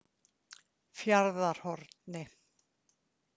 Fjarðarhorni